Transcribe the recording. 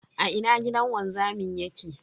A ina gidan wanzamin yake?